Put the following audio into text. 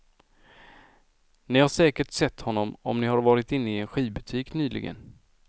Ni säkert sett honom om ni har varit inne i en skivbutik nyligen.